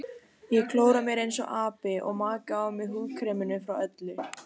Ég klóra mér einsog api og maka á mig húðkreminu frá Öllu.